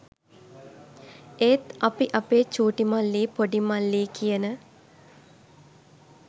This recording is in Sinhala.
ඒත් අපි අපේ චූටිමල්ලි ‍පොඩිමල්ලි කියන